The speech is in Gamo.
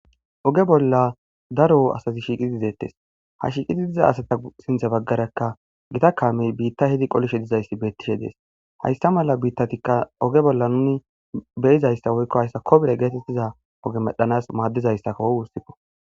Oge bolla daro asazi shiiqiideettes ha shiiqidi diza asata siinththa baggarakka gitta kaamey biitta hidi qolishshe dizayssi beettishe dees haysta mala biittatikka oge bolla nuni beyizayssa woykko hayssa kobile geetettiza oge medhdhanas maaddizayssako gussikko